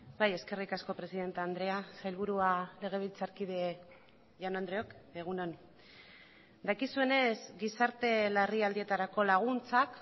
bai eskerrik asko presidente andrea sailburua legebiltzarkide jaun andreok egun on dakizuenez gizarte larrialdietarako laguntzak